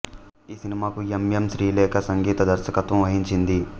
ఈ సినిమాకు M M Srilekha సంగీత దర్శకత్వం వహించింది